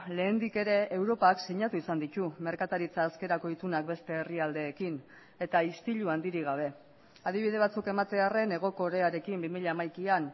lehendik ere europak sinatu izan ditu merkataritza askerako itunak beste herrialdeekin eta istilu handirik gabe adibide batzuk ematearren hego korearekin bi mila hamaikaan